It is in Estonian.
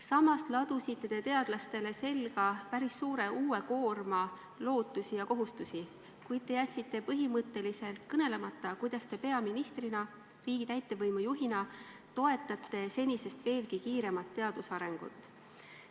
Samas te ladusite teadlastele selga päris suure uue koorma lootusi ja kohustusi ning jätsite põhimõtteliselt kõnelemata, kuidas te peaministrina, riigi täitevvõimu juhina toetate senisest veelgi kiiremat teaduse arengut.